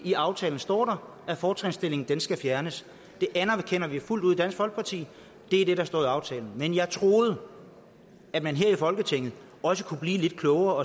i aftalen står at fortrinsstillingen skal fjernes det anerkender vi fuldt ud i dansk folkeparti det er det der står i aftalen men jeg troede at man her i folketinget kunne blive lidt klogere og